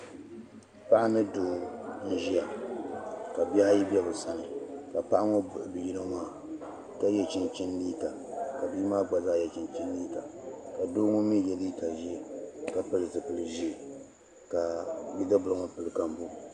paɣa ni doo n-ʒia ka bihi ayi be bɛ sani ka paɣa ŋɔ buɣi bi' yino maa ka ye chinchini liiga ka bia maa gba zaa ye chinchini liiga ka doo ŋɔ mi ye liiga ʒee ka pili zipil' ʒee ka bidibibila ŋɔ gbubi kambuu